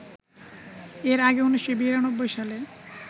এর আগে ১৯৯২ সালে